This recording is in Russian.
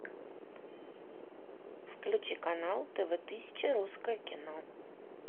включи канал тв тысяча русское кино